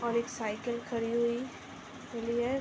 और एक साइकल खड़ी हुई मिली है।